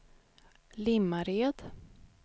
Limmared